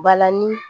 Balani